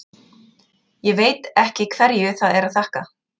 Ég veit ekki hverju það er að þakka.